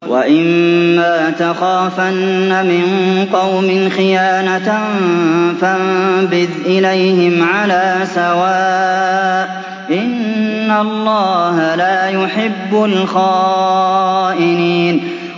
وَإِمَّا تَخَافَنَّ مِن قَوْمٍ خِيَانَةً فَانبِذْ إِلَيْهِمْ عَلَىٰ سَوَاءٍ ۚ إِنَّ اللَّهَ لَا يُحِبُّ الْخَائِنِينَ